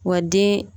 Wa den